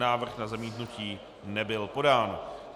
Návrh na zamítnutí nebyl podán.